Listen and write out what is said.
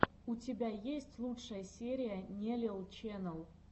у тебя есть лучшая серия нелил ченел